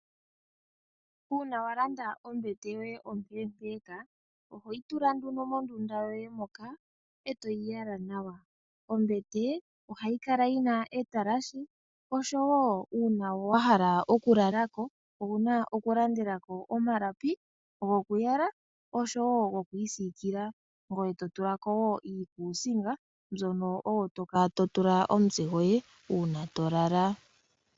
Uuna walanda ombete ompeempeka ohoyi tula mondunda yoye etoyi yala nawa ombete ohayikala yina etalashe. Opo kombete wulaleko owuna okulandela ko iikumbatha yokwiisikila nokuyala ngweye totulako iikusiga hoka toka watula omutse ngoye ngele walala.